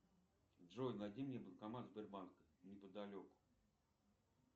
джой найди мне банкомат сбербанка неподалеку